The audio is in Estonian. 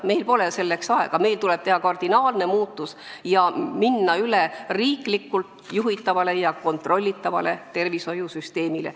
Meil pole selleks aega, meil tuleb teha kardinaalne muutus ja minna üle riiklikult juhitavale ja kontrollitavale tervishoiusüsteemile.